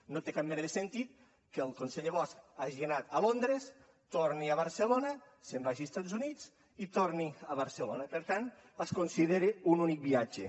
no té cap mena de sentit que el conseller bosch hagi anat a londres torni a barcelona se’n vagi a estats units i torni a barcelona per tant es considera un únic viatge